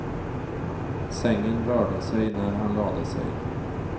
Sängen rörde sig när han lade sig.